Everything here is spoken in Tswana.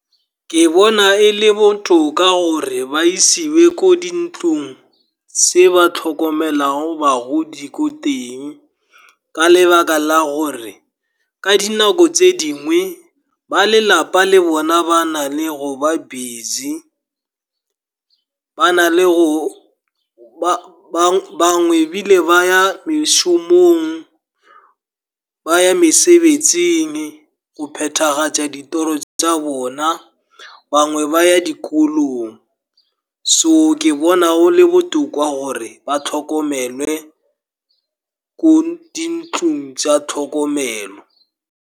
Ke bona e le botoka gore ba isiwe ko di ntlong tse ba tlhokomelang bagodi ko teng, ka lebaka la gore ka dinako tse dingwe ba lelapa le bona ba nale go ba busy. Bangwe ebile ba ya mešomong, ba ya mesebetsing go phethagatša ditoro tsa bona. Bangwe ba ya dikolong, so ke bona go le botoka gore ba tlhokomelwe ko di ntlong tsa tlhokomelo.